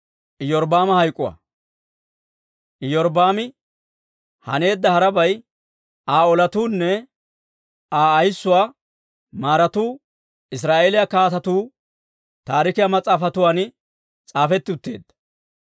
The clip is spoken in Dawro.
Iyorbbaami haneedda harabay, Aa olatuunne Aa ayissuwaa maaratu Israa'eeliyaa Kaatetuu Taarikiyaa Mas'aafatuwaan s'aafetti utteedda.